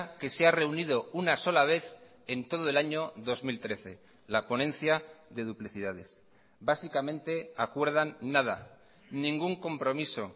que se ha reunido una sola vez en todo el año dos mil trece la ponencia de duplicidades básicamente acuerdan nada ningún compromiso